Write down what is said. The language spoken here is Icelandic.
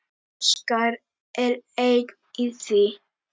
Óskar er einn í því.